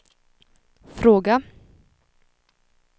fråga